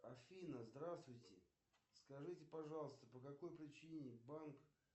афина здравствуйте скажите пожалуйста по какой причине банк